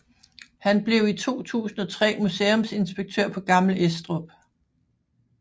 Han blev i 2003 museumsinspektør på Gammel Estrup